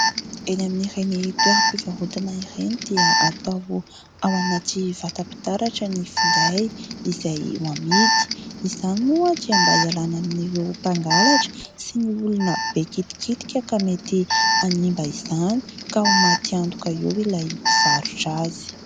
Eny amin'ireny toeram-pivarotana ireny dia atao ao anaty vatam-pitaratra ny finday izay ho amidy. Izany moa dia mba hialana amin'ireo mpangalatra sy ny olona be kitikitika ka mety hanimba izany, ka ho maty antoka eo ilay mpivarotra azy.